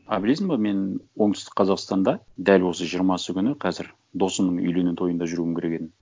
а білесің ба мен оңтүстік қазақстанда дәл осы жиырмасы күні қазір досымның үйлену тойында жүруім керек едім